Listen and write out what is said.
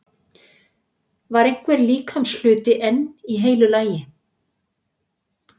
Var einhver líkamshluti enn í heilu lagi?